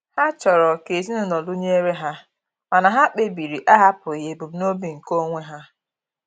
Ha chọrọ ka ezinụlọ dụnyere ha mana ha kpebiri ahapụghị ebumnobi nke onwe ha.